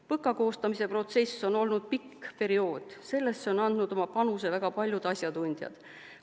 PõKa koostamise protsess on olnud pikk periood, sellesse on andnud oma panuse väga paljud asjatundjad.